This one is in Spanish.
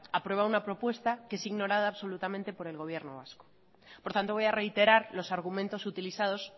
aprueba una propuesta que es ignorada absolutamente por el gobierno vasco por tanto voy a reiterar los argumentos utilizados